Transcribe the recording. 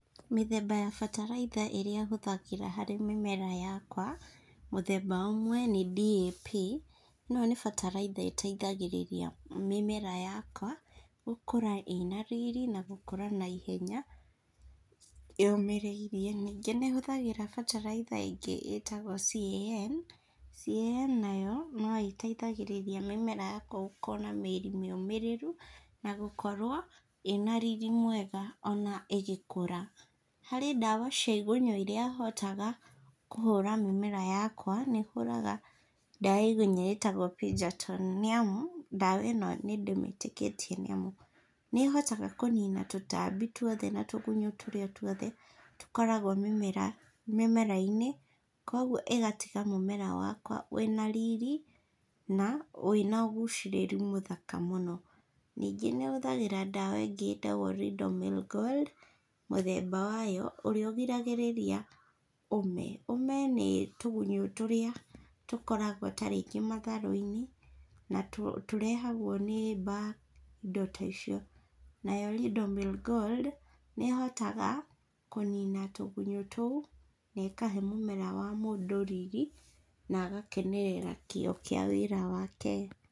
Mĩthemba ya bataraitha ĩrĩa hũthagĩra harĩ mĩmera yakwa, mũthemba ũmwe nĩ DAP. ĩno nĩ bataraitha ĩteithagĩrĩria mĩmera yakwa gũkũra ĩna riri, na gũkũra naihenya, yũmĩrĩirie. Ningĩ nĩ hũthagĩra bataraitha ĩngĩ ĩtagwo CAN. CAN nayo no ĩteithagĩrĩria mĩmera yakwa gũkorwo na mĩri mĩũmĩrĩru na gũkorwo ĩna riri mwega o na ĩgĩkũra. Harĩ ndawa cia igunyũ iria hotaga kũhũra mĩmera yakwa, nĩ hũraga ndawa ya igunyũ ĩtagwa nĩ amu, ndawa ĩno nĩ ndĩĩmĩtĩkĩtie nĩ amu, nĩ ĩhotaga kũnina tũtambi tũothe na tũgunyũ tũrĩa tũothe tũkoragwo mĩmera-inĩ kwoguo ĩgatiga mũmera wakwa wĩna riri na wĩna ũgucĩrĩru mũthaka mũno. Ningĩ nĩ hũthagĩra ndawa ĩngĩ ĩtagwo Ridomil Gold, mũthemba wayo, ũrĩa ũgiragĩrĩria ũme. Ũme nĩ tũgunyũ tũrĩa tũkoragwo tarĩngĩ matharũ-inĩ, na tũrehagwo nĩ mbaa, indo ta icio. Nayo Ridomil Gold, nĩ ĩhotaga kũnina tũgunyũ tũu na ĩkahe mũmera wa mũndũ riri, na agakenerera kĩo kĩa wĩra wake.